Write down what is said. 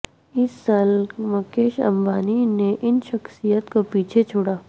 اس سال مکیش امبانی نے ان شخصیات کو پیچھے چھوڑا